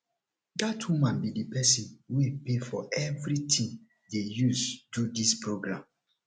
dat woman be the person wey pay for everything dey use do dis programme